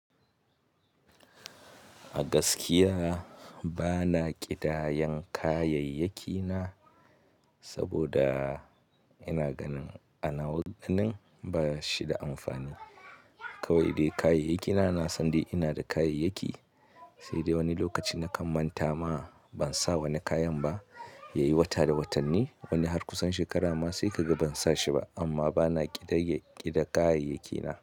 A gaskiya ba na ƙidayan kayayyaki na saboda ina ganin anawa ganin ba shi da amfani. Kawai dai kayayyaki na, ina san dai ina da kayayyaki, sai dai wani lokaci na kammanta ma ban sa wani kayan ba, yayi wata da watanni wani har kusan shekara ma sai ka ga ban sa shi ba amma ba na ƙidaye ƙida kayayyaki na.